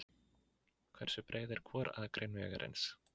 Hversu breið er hvor akrein vegarins?